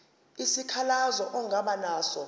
isikhalazo ongaba naso